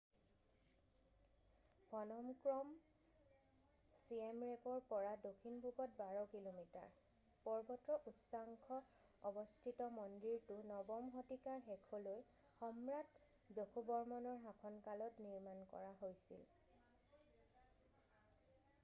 ফ'ন'ম Krom চিয়েম ৰেপৰ পৰা দক্ষিণপূৱত 12 কিলোমিটাৰ পৰ্বতৰ উচ্চাংশ অৱস্থিত মন্দিৰটো 9ম শতিকাৰ শেষলৈ সম্ৰাট যশোবৰ্মনৰ শাসনকালত নিৰ্মাণ কৰা হৈছিল